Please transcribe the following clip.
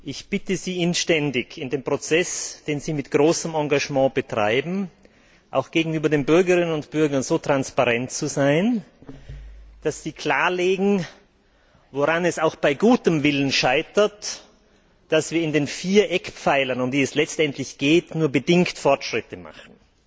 Ich bitte Sie inständig, in dem Prozess, den Sie mit großem Engagement betreiben, auch gegenüber den Bürgerinnen und Bürger so transparent zu sein, dass Sie darlegen, woran es auch bei gutem Willen scheitert, dass wir bei den vier Eckpfeilern, um die es letztendlich geht, nur bedingt Fortschritte machen.